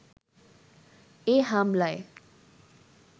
এ হামলায়